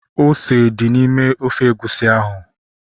Ose dị n'ime ofe egusi ahu